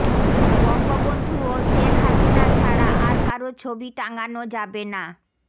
বঙ্গবন্ধু ও শেখ হাসিনা ছাড়া আর কারও ছবি টাঙানো যাবে না